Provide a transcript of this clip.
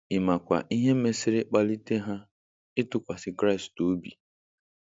Ị makwa ihe mesịrị kpalie ha ịtụkwasị Kraịst obi?